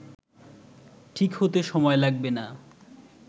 ঠিক হতে সময় লাগবে না